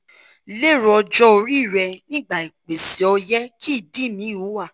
lero ojo ori re nigba ipese oye ki idi mi wa